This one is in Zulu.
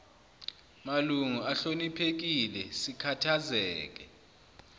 malungu ahloniphekile sikhathazeke